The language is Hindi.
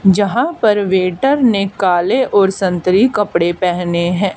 यहां पर वेटर ने काले और संतरी कपड़े पहने हैं।